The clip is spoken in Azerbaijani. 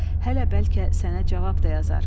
Hələ bəlkə sənə cavab da yazar.